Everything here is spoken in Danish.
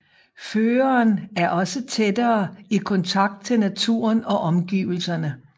Føreren er også tættere i kontakt til naturen og omgivelserne